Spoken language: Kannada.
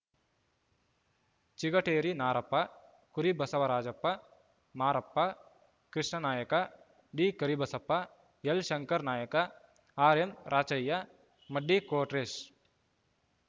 ಚಿಗಟೇರಿ ನಾರಪ್ಪ ಕುರಿ ಬಸವರಾಜಪ್ಪ ಮಾರ ಪ್ಪ ಕೃಷ್ಣಾನಾಯ್ಕ ಡಿಕರಿಬಸಪ್ಪ ಎಲ್‌ಶಂಕರ್‌ ನಾಯ್ಕ ಆರ್‌ಎಂರಾಚಯ್ಯ ಮಡ್ಡಿ ಕೊಟ್ರೇಶ್‌